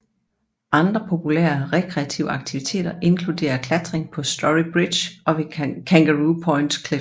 Andre populære rekreative aktiviteter inkluderer klatring på Story Bridge og ved Kangaroo Point Cliffs